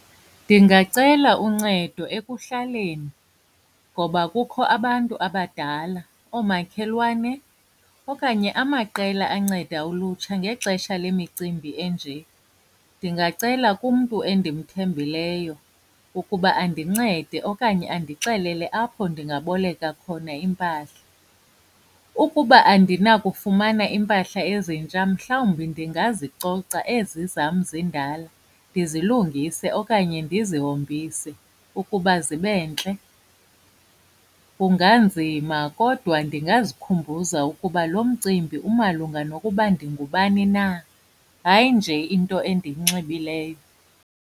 Ndingacela uncedo ekuhlaleni ngoba kukho abantu abadala, oomakhelwane okanye amaqela anceda ulutsha ngexesha lemicimbi enje. Ndingacela kumntu endimthembileyo ukuba andincede okanye andixelele apho ndingaboleka khona iimpahla. Ukuba andinakufumana iimpahla ezintsha mhlawumbi ndingazicoca ezi zam zindala, ndizilungise okanye ndizihombise ukuba zibe ntle. Kunganzima kodwa ndingazikhumbuza ukuba lo mcimbi umalunga nokuba ndingubani na, hayi nje into endiyinxibileyo.